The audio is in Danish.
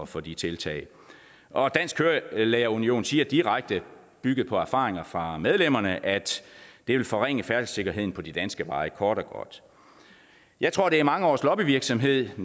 for de tiltag og dansk kørelærer union siger direkte bygget på erfaringer fra medlemmerne at det vil forringe færdselssikkerheden på de danske veje kort og godt jeg tror det er mange års lobbyvirksomhed